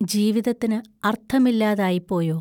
ജീവിതത്തിന് അർത്ഥമില്ലാതായിപ്പോയോ?